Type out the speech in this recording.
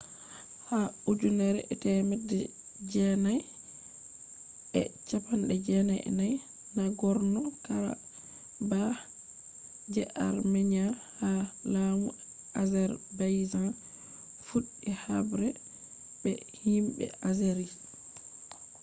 ha 1994 nagorno-karabakh je armenia ha laamu azerbaijan fuɗɗi haɓre be himɓe azeris